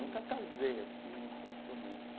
Nunca casei assim oficialmente.